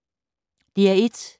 DR1